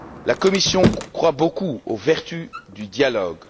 La Commission croit beaucoup aux vertus du dialogue.